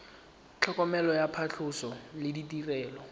tlhokomelo ya phatlhoso le ditirelo